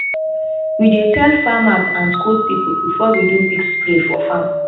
we dey tell farmers and school people before we do big spray for farm.